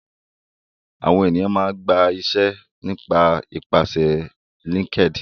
Àwọn ènìyàn máa ń gba iṣẹ́ nípasẹ̀ Linkedin